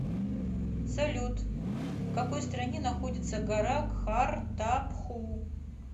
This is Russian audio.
салют в какой стране находится гора кхартапху